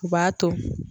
U b'a to